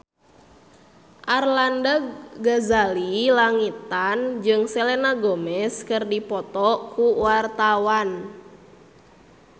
Arlanda Ghazali Langitan jeung Selena Gomez keur dipoto ku wartawan